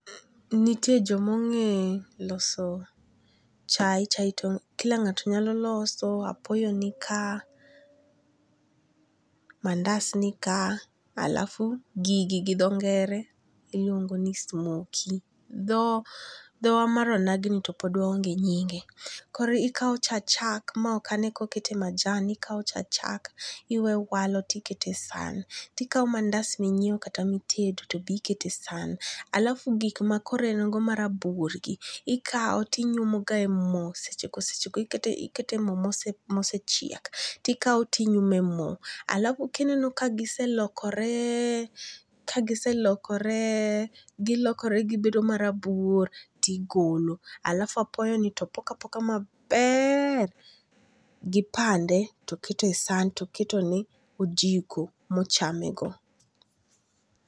Nitie joma onge' loso chae, chai to kila nga'to nyalo loso, apoyo nika, mandas nika alafu gigi gi tho ngere iluongo ni smoky, thowa mar onagini ni to pok waonge' nyinge, koro okau cha chak ma ok ane ka okete majan, okau cha chak iweye owalo tikete sahan, tikau mandas minyiewo kata mitedo to be ikete sahan alafu gik ma koro en godo marabuor ikawo tinyumogae mo sechego sechego ikete e mo mosechiel tikawe tinyume mo alafu kineno kagiselokore kagiselokore gilokore gibedo marabuor tigolo, alafu apoyoni to ipoko apoka maber gi pande to keto e san to ketone gi ojiko mochamego